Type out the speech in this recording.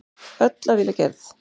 Öll af vilja gerð.